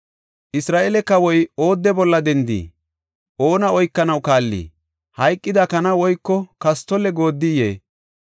“Isra7eele kawoy oodde bolla dendii? Oona oykanaw kaallii? Hayqida kana woyko kastolle goodiyee?